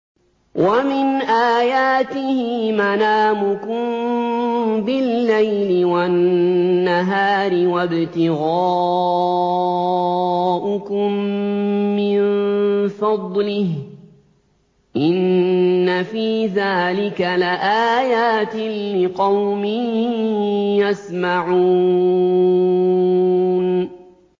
وَمِنْ آيَاتِهِ مَنَامُكُم بِاللَّيْلِ وَالنَّهَارِ وَابْتِغَاؤُكُم مِّن فَضْلِهِ ۚ إِنَّ فِي ذَٰلِكَ لَآيَاتٍ لِّقَوْمٍ يَسْمَعُونَ